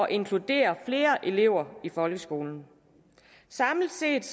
inkludere flere elever i folkeskolen samlet set